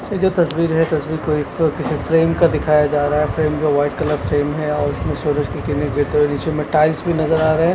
जो तस्वीर है तस्वीर को एक किसी फ्रेम का दिखाया जा रहा है फ्रेम जो वाइट कलर फ्रेम है और उसमें नीचे में टाइल्स भी नजर आ रहे हैं।